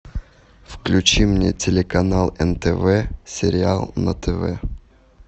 включи мне телеканал нтв сериал на тв